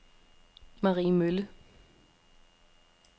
Mariemølle